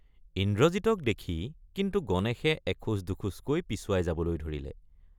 ইন্দ্ৰজিতক দেখি কিন্তু গণেশে এখোজ দুখোজকৈ পিছুৱাই যাবলৈ ধৰিলে।